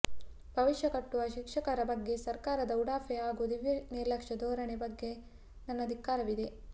ಭವಿಷ್ಯ ಕಟ್ಟುವ ಶಿಕ್ಷಕರ ಬಗ್ಗೆ ಸರ್ಕಾರದ ಉಡಾಫೆ ಹಾಗೂ ದಿವ್ಯ ನಿರ್ಲಕ್ಷ್ಯ ಧೋರಣೆ ಬಗ್ಗೆ ನನ್ನ ಧಿಕ್ಕಾರವಿದೆ